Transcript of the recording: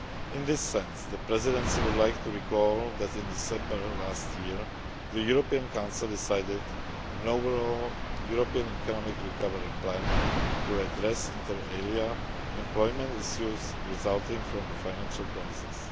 In this sense, the Presidency would like to recall that in December last year the European Council decided an overall European economic recovery plan to address, inter alia employment issues resulting from the financial crisis.